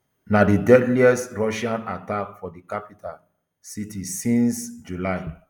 na di deadliest russian attack for di capital city since july